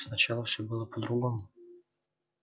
сначала все было по-другому